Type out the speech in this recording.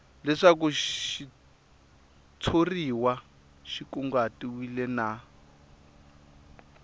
leswaku xitshuriwa xi kunguhatiwile na